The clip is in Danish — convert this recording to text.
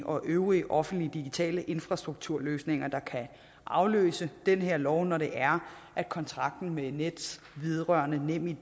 og øvrige offentlige digitale infrastrukturløsninger der kan afløse den her lov når det er at kontrakten med nets vedrørende nemid